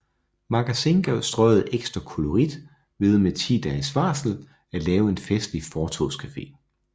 Magasin gav Strøget ekstra kollorit ved med 10 dages varsel at lave en festlig fortovscafe